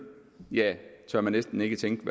tør man næsten ikke tænke